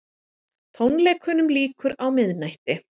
Tónleikunum lýkur á miðnætti